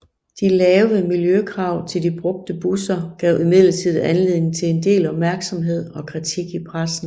De lave miljøkrav til de brugte busser gav imidlertid anledning til en del opmærksomhed og kritik i pressen